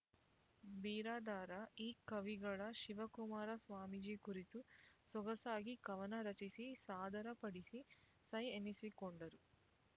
ಬಿರಾದಾರ ಈ ಕವಿಗಳ ಶಿವಕುಮಾರ ಸ್ವಾಮೀಜಿ ಕುರಿತು ಸೊಗಸಾಗಿ ಕವನ ರಚಿಸಿ ಸಾದರ ಪಡಿಸಿ ಸೈ ಎನ್ನಿಸಿಕೊಂಡರು